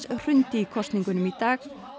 hrundi í kosningunum í dag